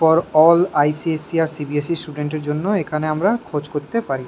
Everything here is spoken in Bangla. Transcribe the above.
For all ICC. CB. S. C student দের জন্য আমরা এখানে খোঁজ করতে পারি।